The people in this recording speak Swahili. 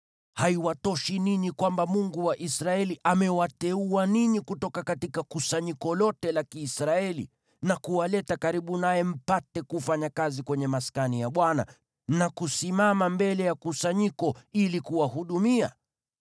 Haiwatoshi ninyi kwamba Mungu wa Israeli amewateua ninyi kutoka kusanyiko lote la Kiisraeli, na kuwaleta karibu naye mpate kufanya kazi kwenye Maskani ya Bwana , na kusimama mbele ya kusanyiko ili kuwahudumia?